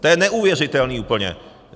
To je neuvěřitelný úplně!